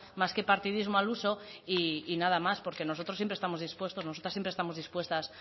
más que partidismo al uso y nada más porque nosotros siempre estamos dispuestos nosotras siempre estamos dispuestas